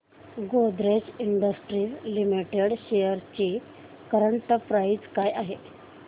Godrej industries limited shares ची current price काय आहे